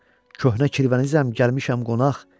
Köhnə kirvənizəm, gəlmişəm qonaq.